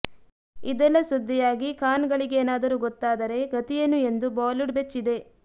ಇದೆಲ್ಲಾ ಸುದ್ದಿಯಾಗಿ ಖಾನ್ ಗಳಿಗೆನಾದರೂ ಗೊತ್ತಾದರೆ ಗತಿಯೇನು ಎಂದು ಬಾಲಿವುಡ್ ಬೆಚ್ಚಿದೆ